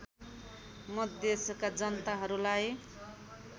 म देशका जनताहरूलाई